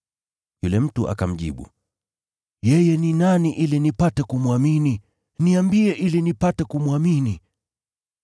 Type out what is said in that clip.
Yule mtu akamjibu, “Yeye ni nani, Bwana? Niambie ili nipate kumwamini.”